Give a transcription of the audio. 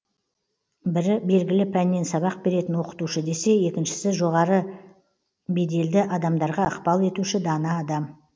бірі белгілі пәннен сабақ беретін оқытушы десе екіншісі жоғары беделді адамдарға ықпал етуші дана адам